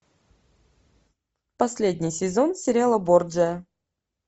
последний сезон сериала борджиа